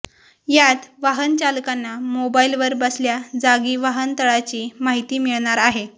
यात वाहनचालकांना मोबाईलवर बसल्या जागी वाहनतळाची माहिती मिळणार आहे